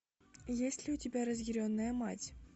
есть ли у тебя разъяренная мать